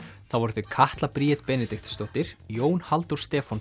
það voru þau Katla Bríet Benediktsdóttir Jón Halldór Stefánsson